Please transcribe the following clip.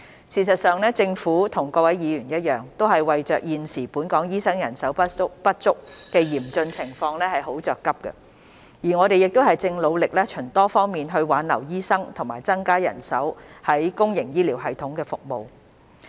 事實上，政府與各位議員一樣，為現時本港醫生人手不足的嚴峻情況而很着急，我們亦正努力循多方面挽留醫生和增加人手於公營醫療系統服務。